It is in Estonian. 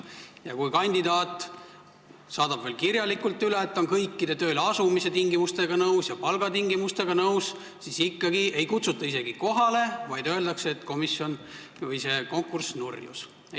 Kui kandidaat kinnitas veel kirjalikult üle, et ta on kõikide tööleasumise tingimustega nõus ja ka palgatingimustega nõus, siis ikkagi ei kutsutud teda isegi kohale, vaid öeldi, et konkurss nurjus.